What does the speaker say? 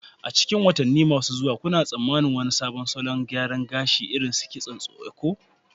A cikin watanni masu zuwa, kuna tsammanin wani sabon salo ko salon gyara gashi, irin su kitson Eko?